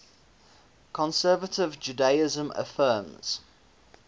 conservative judaism affirms